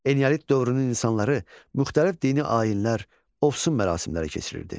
Eneolit dövrünün insanları müxtəlif dini ayinlər, ovsun mərasimləri keçirirdi.